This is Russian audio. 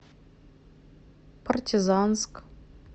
партизанск